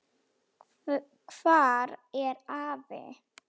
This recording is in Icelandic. Hvar er afi?